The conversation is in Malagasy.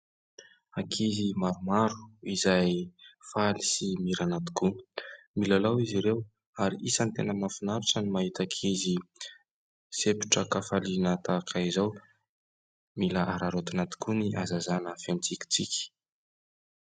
Ankizy maromaro izay faly sy mirana tokoa. Milalao izy ireo ary isany tena mahafinaritra ny mahita ankizy sepotra an-kafaliana tahaka izao. Mila araraotina tokoa ny hazazana feno tsikitsiky .